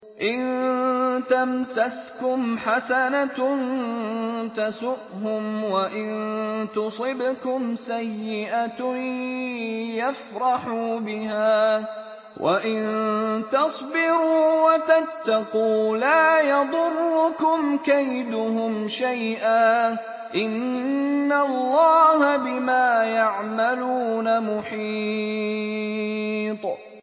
إِن تَمْسَسْكُمْ حَسَنَةٌ تَسُؤْهُمْ وَإِن تُصِبْكُمْ سَيِّئَةٌ يَفْرَحُوا بِهَا ۖ وَإِن تَصْبِرُوا وَتَتَّقُوا لَا يَضُرُّكُمْ كَيْدُهُمْ شَيْئًا ۗ إِنَّ اللَّهَ بِمَا يَعْمَلُونَ مُحِيطٌ